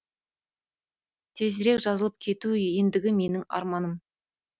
тезірек жазылып кету ендігі менің арманым